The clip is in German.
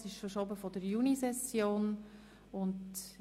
Dieses Geschäft wurde in der Junisession verschoben.